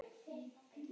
Hann vissi það.